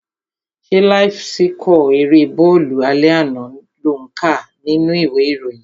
Ṣé láíf síkọ̀ erée bọ́ọ̀lù alẹ́ àná lò ń kà nínú ìwé ìròyìn?